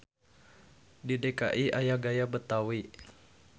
Di DKI aya gaya Betawi.